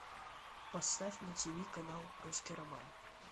поставь на тв канал русский роман